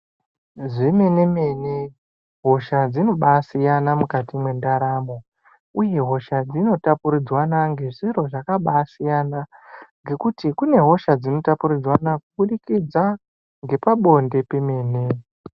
Zvemenemene hosha dzinobasiyana mukati mwendaramo uye hosha dzinotapuridzwana ngezviro zvakabasiyana ngekuti kunehosha dzinotapuridzwanwa kubudikidza ngepabonde pemene.